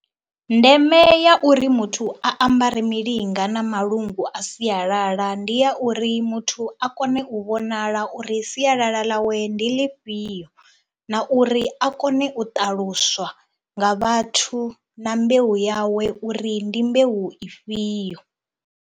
Ndeme ya uri muthu a ambare milinga na malungu a sialala ndi ya uri muthu a kone u vhonala uri sialala ḽawe ndi ḽifhio na uri a kone u ṱaluswa nga vhathu na mbeu yawe uri ndi mbeu ifhio.